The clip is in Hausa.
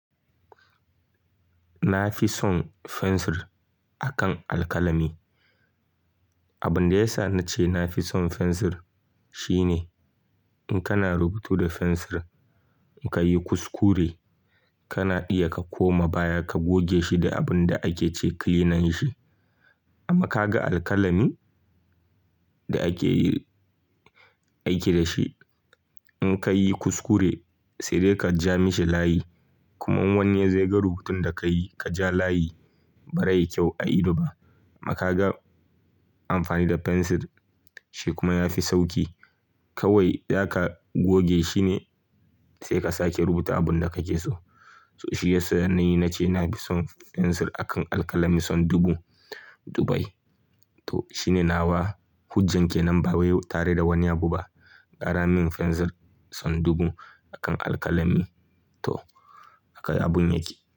Na fi son fensir akan alkalami. Abin da ya sa na ce na fi son fensir shine in kana rubutu da fensir, in ka yi kuskure, kana iya ka koma baya, ka goge shi da abin da ake ce kilinan shi. Amma ka ga alkalami da ake aiki da shi, in ka yi kuskure, sai dai ka ja mishi layi. Kuma wani yazo yaga rubutun da ka yi ka ja layi ba zai yi kyau a ido ba. Amma ka ga amfani da fensir, shi kuma ya fi sauki. Kawai zaka goge shi ne, sai ka sake rubuta abin da kake so. To shi ya sa na ni na ce na fi son fensir akan alkalami sau dubu dubai. To shi ne nawa hujjan ke nan ba wai tare da wani abu ba. Ƙara min fensir sau dubu akan alkalami. To haka abun yake.